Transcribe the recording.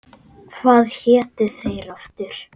Hvað hétu þeir aftur?